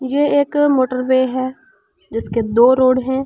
यह एक मोटरवे है जिसके दो रोड है एक --